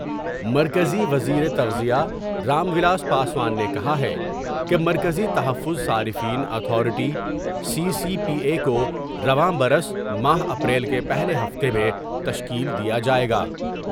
مرکزی وزیرِ تخذ یہ رام ولاس پاسوان نے کہا ہے کہ مرکزی تحفظ صارفین authority C C P A کو رواں برس ماہ اپریل کے پہلے ہفتہ میں تشکیل دیا جاۓ گا ۔